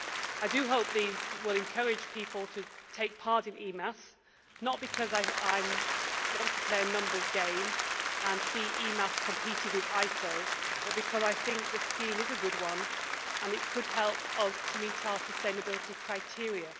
I do hope these will encourage people to take part in EMAS, not because I want to play a numbers game and see EMAS competing with ISO, but because I think the scheme is a good one and could help us to meet our sustainability criteria.